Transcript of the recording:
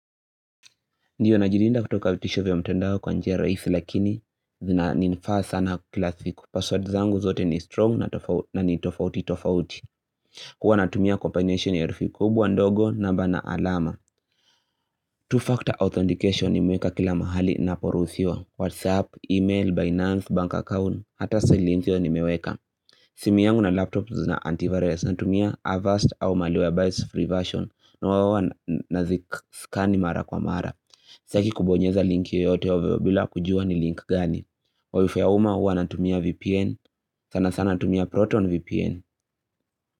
Ndio najilinda kutoka vitisho vya mtendao kwa njia rahisi lakini zina ni nifaa sana kilavsiku passwordzangu zote ni strong na ni tofauti tofauti huwa natumia combination ya herufi kubwa ndogo namba na alama Two-factor authentication nimeweka kila mahali naporuhusiwa Whatsapp, email, Binance, bank account, hata silimziyo ni meweka Simi yangu na laptop zina antivirus Natumia Avest au maliwebis free version huwa naziscan mara kwa mara Saki kubonyeza linki yoyote ovyo bila kujua ni link gani wifi ya umma huwa natumia VPN sana sana natumia Proton VPN.